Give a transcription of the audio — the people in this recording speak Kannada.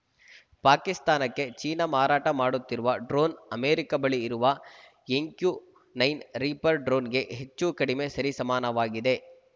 ಪಾಕಿಸ್ತಾನಕ್ಕೆ ಚೀನಾ ಮಾರಾಟ ಮಾಡುತ್ತಿರುವ ಡ್ರೋನ್‌ ಅಮೆರಿಕ ಬಳಿ ಇರುವ ಎಂಕ್ಯು ಒಂಬತ್ತು ರೀಪರ್‌ ಡ್ರೋನ್‌ಗೆ ಹೆಚ್ಚೂಕಡಿಮೆ ಸರಿಸಮಾನವಾಗಿದೆ